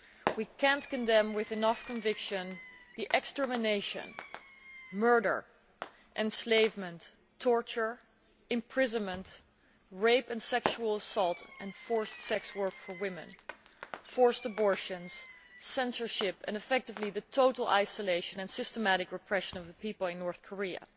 We cannot condemn with enough conviction the extermination, murder, enslavement, torture, imprisonment, rape and sexual assault and forced sex work for women, forced abortions, censorship, and effectively the total isolation and systematic repression of the people in North Korea.